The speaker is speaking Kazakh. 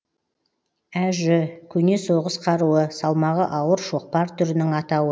әжү көне соғыс қаруы салмағы ауыр шоқпар түрінің атауы